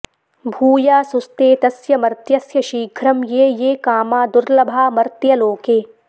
भूयासुस्ते तस्य मर्त्यस्य शीघ्रं ये ये कामा दुर्लभा मर्त्यलोके